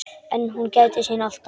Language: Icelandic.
En hún gætir sín alltaf.